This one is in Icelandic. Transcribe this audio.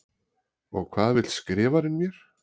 Og hvað vill Skrifarinn mér?